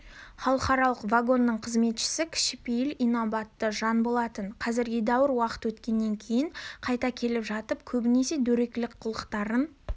халықаралық вагонның қызметшісі кішіпейіл инабатты жан болатын қазір едәуір уақыт өткеннен кейін қайта келе жатып көбінесе дөрекілік қылықтарын